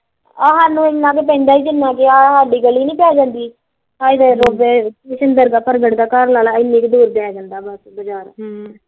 ਆਹ ਇੰਨਾ ਕੁ ਹਿ ਪੈਂਦਾ ਜਿਨ ਸਾਡੀ ਗੱਲਈ ਨੀ ਪੈ ਜਾਂਦੀ ਅਵੇ ਜਿਵੇ ਪ੍ਰਗਟ ਦਾ ਘਰ ਪੈ ਜਾਂਦਾ ਵਾਂ ਤੂੰ ਏਨੀ ਕੁ ਦੂਰ ਲਾਲਾ ਹਮ ਬਜ਼ਾਰ